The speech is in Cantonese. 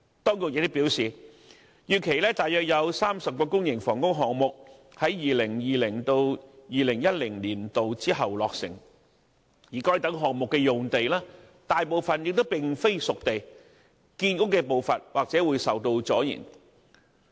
當局亦表示，預期約有30個公營房屋項目在 2020-2021 年度之後落成，而該等項目的用地大部分並非"熟地"，建屋的步伐或受阻延。